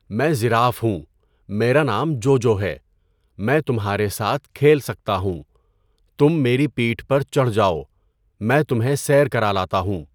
میں ژراف ہوں۔ میرا نام جوجو ہے۔ میں تمہارے ساتھ کھیل سکتا ہوں۔ تم میری پیٹھ پر چڑھ جاؤ۔ میں تمہیں سیر کرا لاتا ہوں۔